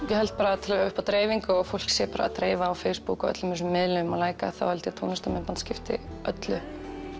ég held bara upp á dreifingu og að fólk sé að dreifa á Facebook og öllum þessum miðlum að læka þá held ég að tónlistarmyndband skipti öllu